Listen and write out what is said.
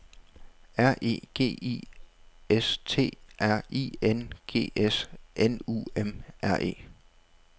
R E G I S T R I N G S N U M R E